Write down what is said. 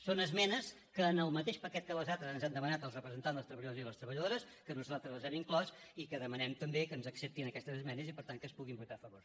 són esmenes que en el mateix paquet que les altres ens han demanat els representants dels treballadors i les treballadores que nosaltres les hem inclòs i que demanem també que ens acceptin aquestes esmenes i per tant que es puguin votar a favor